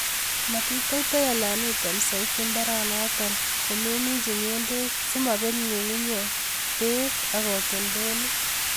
Matiteitei alan item soiti mbaranotet komeminji ng'endek simobet ng'ung'unyek bek ak katoltolik.